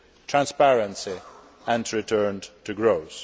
transparency and a return to growth.